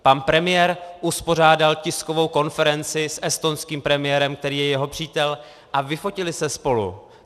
Pan premiér uspořádal tiskovou konferenci s estonským premiérem, který je jeho přítel, a vyfotili se spolu.